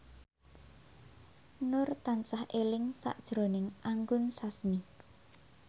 Nur tansah eling sakjroning Anggun Sasmi